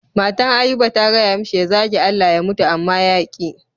Matan Ayuba ta gaya mishi ya zage Allah ya mutu amma ya ƙi.